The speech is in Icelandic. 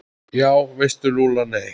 Já veistu Lulla, nei